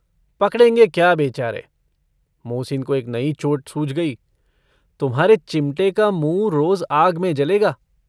पकड़ेंगे क्या बेचारे! मोहसिन को एक नई चोट सूझ गई - तुम्हारे चिमटे का मुँह रोज आग में जलेगा।